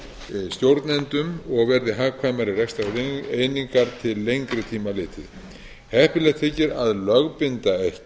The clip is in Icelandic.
færri stjórnendum og verði hagkvæmari rekstrareiningar til lengri tíma litið heppilegt þykir að lögbinda